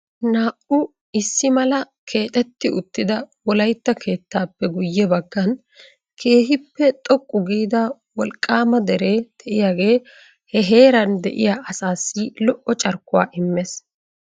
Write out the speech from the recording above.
naa''u issi mala keexxetti uttida Wolaytta keettappe guyye baggan keehipe xoqqu giida wolqqaama dere de'iyaa he heeran de'iyaa asassi lo''o carkkuwaa immees.